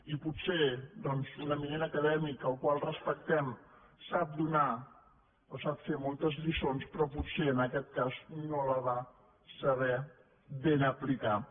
i potser doncs un eminent acadèmic al qual respectem sap donar o sap fer moltes lliços però potser en aquest cas no la va saber aplicar bé